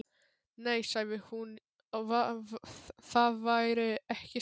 Nei, sagði hún, það væri ekki slæmt.